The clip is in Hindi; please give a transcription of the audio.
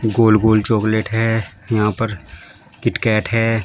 गोल गोल चॉकलेट है यहां पर किटकैट है।